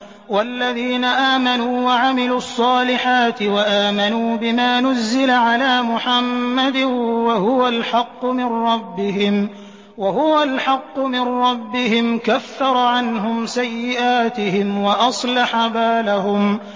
وَالَّذِينَ آمَنُوا وَعَمِلُوا الصَّالِحَاتِ وَآمَنُوا بِمَا نُزِّلَ عَلَىٰ مُحَمَّدٍ وَهُوَ الْحَقُّ مِن رَّبِّهِمْ ۙ كَفَّرَ عَنْهُمْ سَيِّئَاتِهِمْ وَأَصْلَحَ بَالَهُمْ